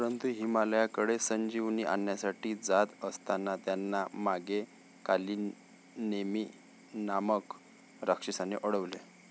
परंतु हिमालयाकडे संजीवनी आणण्यासाठी जात असताना त्यांना मागे 'कालीनेमी' नामक राक्षसाने अडवलं.